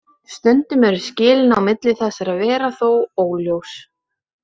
Stundum eru skilin á milli þessara vera þó óljós.